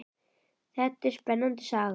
Þetta er spennandi saga.